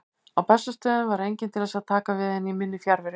Á Bessastöðum var enginn til þess að taka við henni í minni fjarveru.